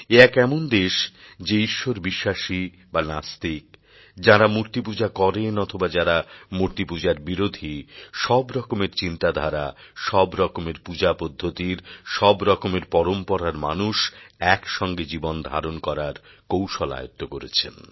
এ এক এমন দেশ যে ঈশ্বরবিশ্বাসী বা নাস্তিক যাঁরা মূর্তিপূজা করেন অথবা যাঁরা মূর্তিপূজার বিরোধী সব রকমের চিন্তাধারা সব রকমের পূজা পদ্ধতির সব রকমের পরম্পরার মানুষ এক সঙ্গে জীবনধারণ করার কৌশল আয়ত্ত করেছেন